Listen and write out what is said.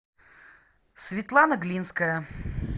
светлана глинская